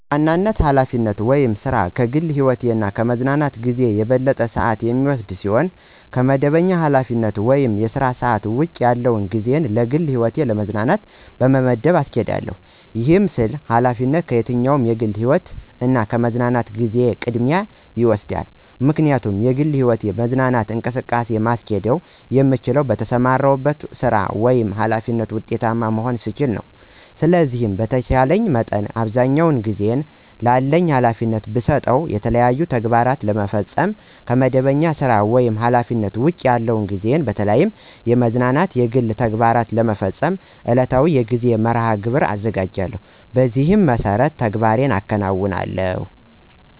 በዋናነት ኃላፊነት ወይም ሥራ ከግል ህይወቴ እና ከምዝናናበት ጊዜ የበለጠውን ሰአት የሚወስድ ሲሆን ከመደበኛ ኃላፊነት ወይም የሥራ ሰዓት ውጭ ያለውን ጊዜየን ለግል ህይወትና ለመዝናኛ በመመደብ አስኬዳለሁ። ይህን ስል ኃላፊነት ከየትኛውም የግል ህይወቴ እና የመዝናኛ ጊዜየ ቅድሚያውን ይወስዳል። ምክንያቱም የግል ህይወትና መዝናኛ እንቅስቃሴን ማስኬድ የምችለው በተሰማራሁበት ሥራ ወይም ኃላፊነት ውጤታማ መሆን ስችል ነው። ስለሆነም በተቻለኝ መጠን አብዛኛውን ጊዜየን ላለኝ ኃላፊነት ብሰጥም የተለያዩ ተግባራትን ለመፈፀም ከመደበኛ ሥራ ወይም ኃላፊነት ውጭ ያለውን ጊዜየን በተለያዩ የመዝናኛ እና የግል ተግባሮቸን ለመፈፀም ዕለታዊ የጊዜ መርሐ-ግብር አዘጋጃለሁ። በዚህ መሠረትም ተግባራትን አከናውናለሁ።